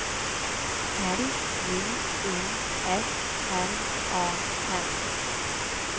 L J U S N A N